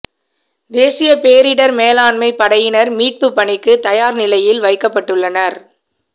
தேசிய பேரிடர் மேலாண்மை படையினர் மீட்பு பணிக்கு தயார் நிலையில் வைக்கப்பட்டுள்ளனர்